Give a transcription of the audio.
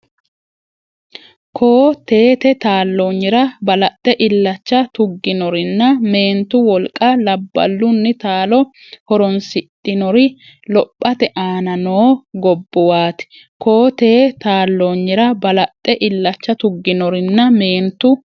Koo-teete taalloonyira balaxxe illacha tugginorinna meentu wolqa labballunni taalo horoonsidhinori lophate aana noo gobbuwaati Koo-teete taalloonyira balaxxe illacha tugginorinna meentu.